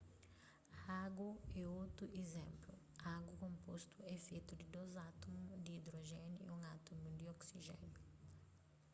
agu é otu izénplu agu konpostu é fetu di dôs átumu di idrojéniu y un átumu di oksijéniu